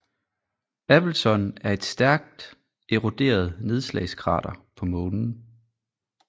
Appleton er et stærkt eroderet nedslagskrater på Månen